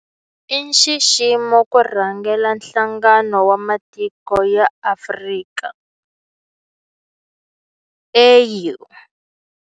I nxiximo ku rhangela Nhlangano wa Matiko ya Afrika, AU.